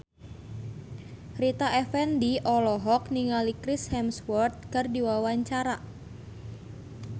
Rita Effendy olohok ningali Chris Hemsworth keur diwawancara